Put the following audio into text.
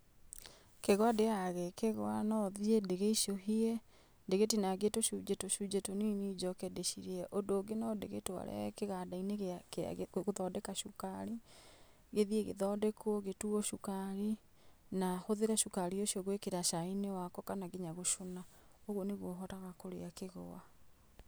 Kĩgwa ndĩaga gĩ kĩgwa, no thiĩ ndĩgĩecũhie ndĩgĩtinangie tũcunjĩ tũcunjĩ tũnini njoke ndĩcirie. Ũndũ ũngĩ no ndĩgĩtware kĩganda-inĩ gĩa kĩa gũ gũthondeka cukari gĩthiĩ gĩthondekwo gĩtuo cukari, na hũthĩre cukari ũcio gwĩkĩra cai-inĩ wakwa kana ngĩnya gũcũna. Ũguo nĩguo hotaga kũria kĩgwa.